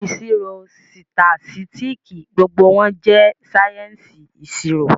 Ìṣirò, sitasitiki, gbogbo wọn jẹ sáyẹ́ǹsì ìṣirò